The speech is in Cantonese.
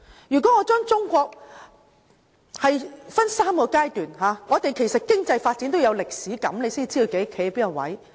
如果我把中國的發展分3個階段，我們對經濟發展也要有歷史感，才知道自己站在哪個位置。